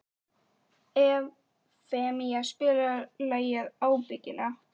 Evfemía, spilaðu lagið „Ábyggilega“.